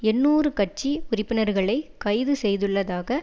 எண்ணூறு கட்சி உறுப்பினர்களை கைது செய்துள்ளதாக